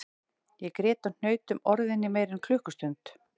Ég grét og hnaut um orðin í meira en klukkustund